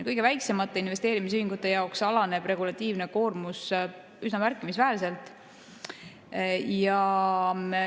Kõige väiksemate investeerimisühingute jaoks alaneb regulatiivne koormus üsna märkimisväärselt.